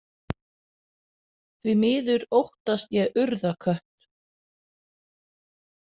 Því miður óttast ég Urðarkött.